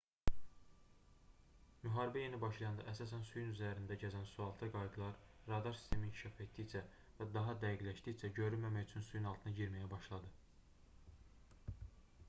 müharibə yeni başlayanda əsasən suyun üzərində gəzən sualtı qayıqlar radar sistemi inkişaf etdikcə və daha dəqiqləşdikcə görünməmək üçün suyun altına girməyə başladı